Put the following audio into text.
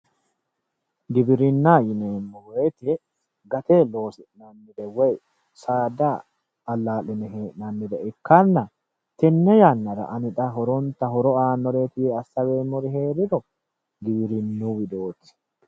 Giwirinna yineemmo woyte gate loosi'nannire woyi saada ala'line hee'nannire ikkanna tenne yannara ani xa horo aanoreti yee asaweemmori heeriro giwirinu widooti.